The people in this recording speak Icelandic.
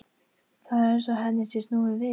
Það er eins og henni sé snúið við.